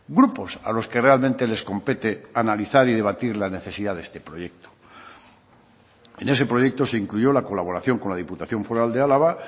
grupos a los que realmente les compete analizar y debatir la necesidad de este proyecto en ese proyecto se incluyó la colaboración con la diputación foral de álava